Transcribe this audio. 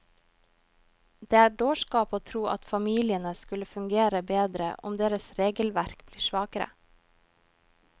Det er dårskap å tro at familiene skulle fungere bedre om deres regelverk blir svakere.